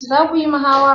Za ku yi muhawara?